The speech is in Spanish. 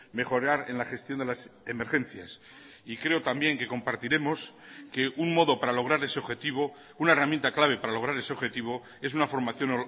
mejorar en la gestión de las emergencias y creo también que compartiremos que un modo para lograr ese objetivo una herramienta clave para lograr ese objetivo es una formación